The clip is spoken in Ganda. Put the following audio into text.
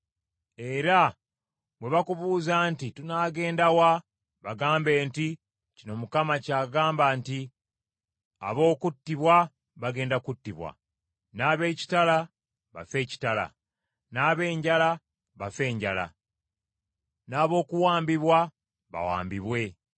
Era bwe bakubuuza nti, ‘Tunaagenda wa?’ “Bagambe nti, ‘Kino Mukama kyagamba nti, Ab’okuttibwa bagenda kuttibwa, n’ab’ekitala bafe ekitala, n’ab’enjala bafe enjala, n’ab’okuwambibwa bawambibwe.’